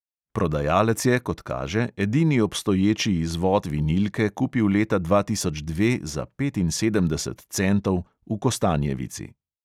Prodajalec je, kot kaže, edini obstoječi izvod vinilke kupil leta dva tisoč dve za petinsedemdeset centov v kostanjevici.